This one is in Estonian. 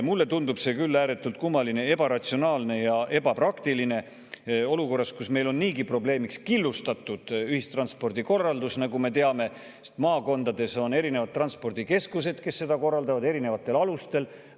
Mulle tundub see küll ääretult kummaline, ebaratsionaalne ja ebapraktiline olukorras, kus, nagu me teame, on meil niigi probleemiks killustatud ühistranspordikorraldus: erinevates maakondades on erinevad transpordikeskused, kes korraldavad ühistransporti erinevatel alustel.